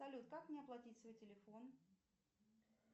салют как мне оплатить свой телефон